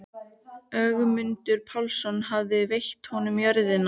Ögmundur Pálsson hafði veitt honum jörðina.